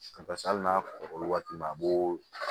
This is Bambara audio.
hali n'a sɔrɔ waati ma a b'o